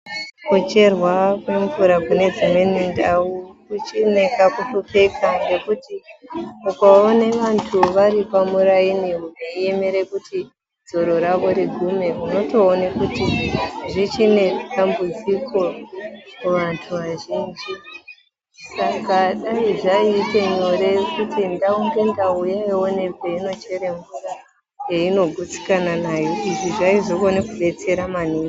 Kucherwa kwemvura kune dzimweni ndau kuchiri nekakuhlupeka ngekuti ukaone vantu vari pamuraini veiemera kuti dzoro ravo rigume unotoone kuti zvichinedambudziko kuvantu vazhinji. Saka Dai zvakaita nyore kuti ndau ngendau dzinoone pedzinochere mvura yevanogutsikana nayo izvi zvaizopinda kudetsera maningi.